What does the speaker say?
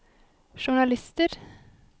journalister